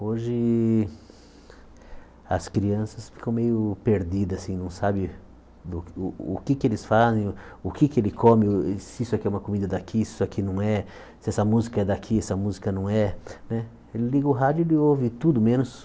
Hoje as crianças ficam meio perdidas, assim não sabem o o que é que eles fazem, o que é que ele come, se isso aqui é uma comida daqui, se isso aqui não é, se essa música é daqui, se essa música não é né. Ele liga o rádio ele ouve tudo, menos